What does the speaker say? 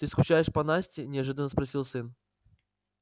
ты скучаешь по насте неожиданно спросил сын